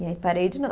E aí parei de